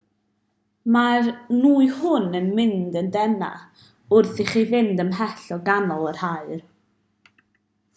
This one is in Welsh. mae'r nwy hwn yn mynd yn deneuach wrth i chi fynd ymhellach o ganol yr haul